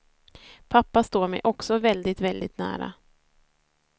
Pappa står mig också väldigt, väldigt nära.